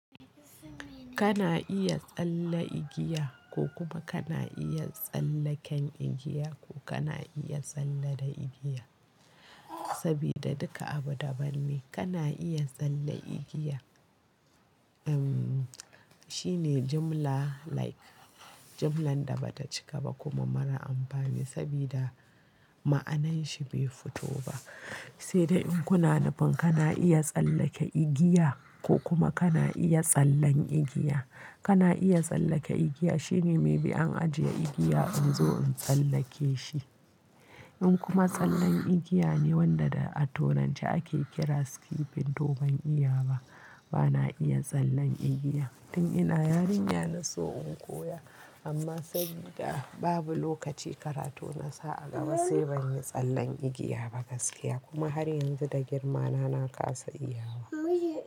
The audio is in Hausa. Kana iya tsalle igiya ko kuma kana iya tsallaken igiya ko kana iya tsalle da igiya. Sabida duka abu daban ne. Kana iya tsalle igiya, shine jimla like jimlan da bata cika ba kuma mara amfani sabida ma'ananshi bai fito ba. Sai dai in kuna nufin kana iya tsallake igiya ko kuma kana iya tsallen igiya. Kana iya tsallake igiya shine me bi an ajiye igiya in zo in tsallake shi. In kuma tsallen igiya ne wanda da a turanci ake kira skipping to ban iya ba. Bana iya tsallen igiya tun ina yarinya na so in koya amma sabida babu lokaci karatu na sa a gaba sai ban yi tsallen igiya ba gaskiya kuma har yanzu da girmana na kasa iya wa.